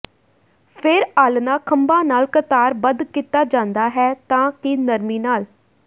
ਫਿਰ ਆਲ੍ਹਣਾ ਖੰਭਾਂ ਨਾਲ ਕਤਾਰਬੱਧ ਕੀਤਾ ਜਾਂਦਾ ਹੈ ਤਾਂ ਕਿ ਨਰਮੀ ਨਾਲ